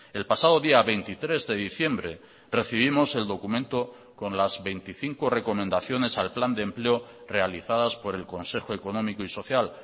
el pasado día veintitrés de diciembre recibimos el documento con las veinticinco recomendaciones al plan de empleo realizadas por el consejo económico y social